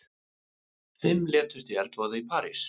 Fimm létust í eldsvoða í París